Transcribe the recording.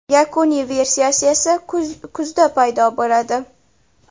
Yakuniy versiyasi esa kuzda paydo bo‘ladi.